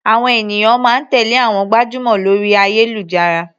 Àwọn ènìyàn máa ń tèlé àwọn gbajúmọ̀ lórí ayélujára.